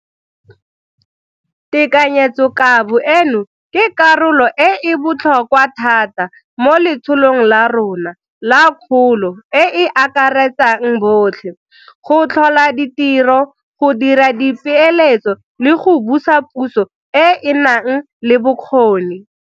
Tekanyetsokabo eno ke karolo e e botlhokwa thata mo letsholong la rona la kgolo e e akaretsang botlhe, go tlhola ditiro, go dira dipeeletso le go busa puso e e nang le bokgoni.